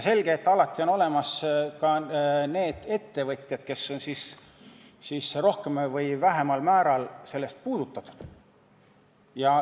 Selge, et alati on olemas ka need ettevõtjad, kes on rohkemal või vähemal määral sellest puudutatud.